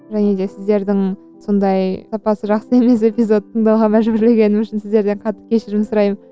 және де сіздердің сондай сапасы жақсы емес эпизод тыңдауға мәжбүрлегенім үшін сіздерден қатты кешірім сұраймын